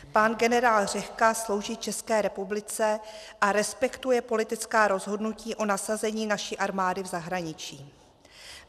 Pan generál Řehka slouží České republice a respektuje politická rozhodnutí o nasazení naší armády v zahraničí.